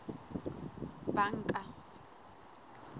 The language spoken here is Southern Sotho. banka